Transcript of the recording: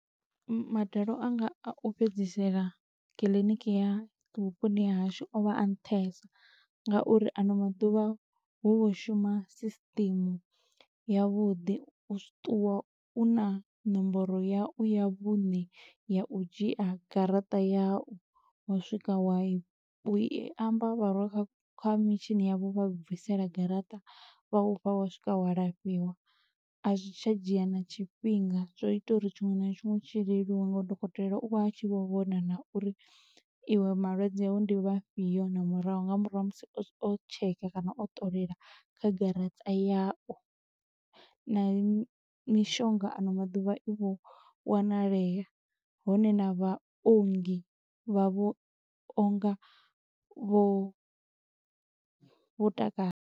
Madalo anga a u fhedzisela kiḽiniki ya vhuponi ha hashu o vha a nṱhesa, nga uri ano maḓuvha hu vho shuma system ya vhuḓi. U ṱuwa u na nomboro yau ya vhuṋe ya u dzhia garaṱa yau, wa swika wa i, u i amba vha rwa kha mitshini ya vha u bvisela garaṱa, vha ufha wa swika wa lafhiwa. A zwi tsha dzhia na tshifhinga, zwo ita uri tshiṅwe na tshiṅwe tshi leluwe, nga uri dokotela u vha a tshi vho vhona na uri iwe malwadze awu ndi vhafhio na murahu. Nga murahu ha musi o tsheka kana o ṱolela kha garaṱa yau, na mishonga ano maḓuvha i vho wanalea, hone na vhaongi vha vho onga vho vho takala.